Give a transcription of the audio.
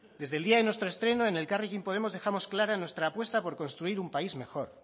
desde el día de nuestro estreno en elkarrekin podemos dejamos clara nuestra apuesta por construir un país mejor